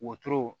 Wotoro